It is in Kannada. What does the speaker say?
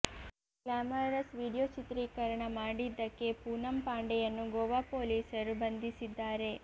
ಗ್ಲಾಮರಸ್ ವಿಡಿಯೋ ಚಿತ್ರೀಕರಣ ಮಾಡಿದ್ದಕ್ಕೆ ಪೂನಂ ಪಾಂಡೆಯನ್ನು ಗೋವಾ ಪೊಲೀಸರು ಬಂಧಿಸಿದ್ದಾರೆ